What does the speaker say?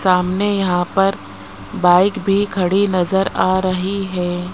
सामने यहां पर बाइक भी खड़ी नजर आ रही है।